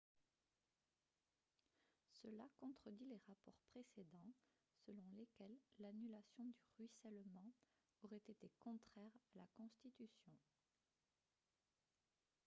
cela contredit les rapports précédents selon lesquels l'annulation du ruissellement aurait été contraire à la constitution